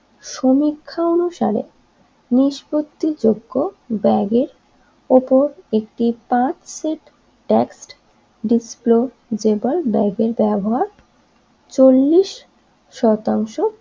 সমীক্ষা অনুসারে নিষ্পত্তিযোগ্য ব্যাগের ওপর একটি পাঁচ সেট টেক্সট ডিসপোজেবল ব্যাগের ব্যবহার চল্লিশ শতাংশ